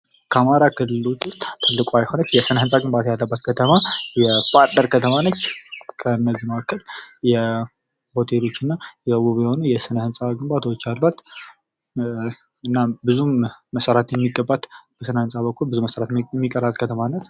በአማራ ክልል ካሉ ከተሞች መካከል የሆቴልና ውብ ይህን የስነ ህንፃ ግንባታ ያለባት ከተማ የባህር ዳር ከተማ ነች። እናም በስነ ህንፃ በኩል ብዙ መሰራት የሚቀራት ከተማ ነች።